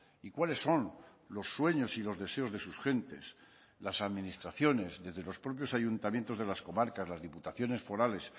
y cuáles son los sueños y los deseos de sus gentes las administraciones desde los propios ayuntamientos de las comarcas las diputaciones forales